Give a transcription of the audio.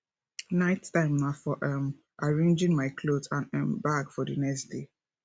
night time na for um arranging my clothes and um bag for the next day